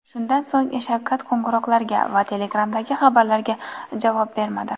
Shundan so‘ng Shavkat qo‘ng‘iroqlarga va Telegram’dagi xabarlarga javob bermadi.